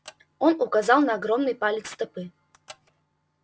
он указал на огромный палец стопы